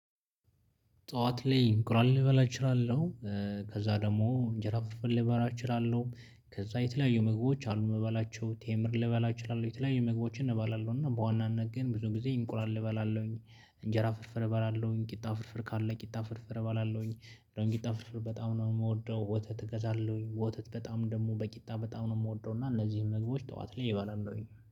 ጠዋት ላይ እንቁላል ልበላ እችላለሁ ከዛ ደግሞ እንጀራ ፍርፍር ልበላ እችላለሁ ከዛ የተለያዩ ምግቦች አሉ እምበላቸው ቴምር ልበላ እችላለሁ የተለያዩ ምግቦችን እበላለው እና በዋናነት ግን ብዙ ጊዜ እንቁላል እበላለሁ። እንጀራ ፍርፍር እበላለሁኝ ቂጣ ፍርፍር ካለ ቂጣ ፍርፍር እበላለሁኝ እንደው ቂጣ ፍርፍር በጣም ነው የምወደው። ወተት እገዛለሁኝ ወተት በጣም ደግሞ በቂጣ በጣም ነው የምወደው እና እነዚህን ምግቦች ጠዋት ላይ እበላለሁኝ